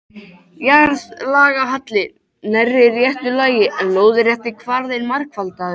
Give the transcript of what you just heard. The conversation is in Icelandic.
Jarðlagahalli nærri réttu lagi, en lóðrétti kvarðinn margfaldaður.